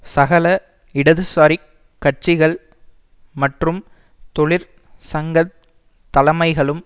சகல இடதுசாரிக் கட்சிகள் மற்றும் தொழிற் சங்க தலமைகளும்